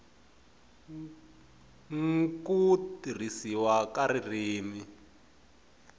n ku tirhisiwa ka ririmi